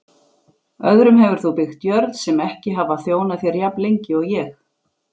Öðrum hefur þú byggt jörð sem ekki hafa þjónað þér jafnlengi og ég.